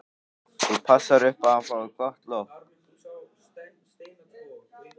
Þú passar upp á að hann fái gott loft.